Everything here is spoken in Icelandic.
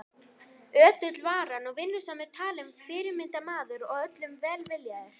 Ötull var hann og vinnusamur talinn fyrirmyndarmaður og öllum velviljaður.